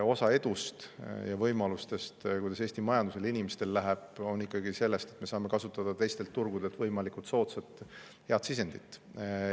Osa edust ja võimalustest, kuidas Eesti majandusel ja inimestel läheb, tuleneb ikkagi sellest, et me saame võimalikult soodsalt kasutada teistelt turgudelt pärit sisendit.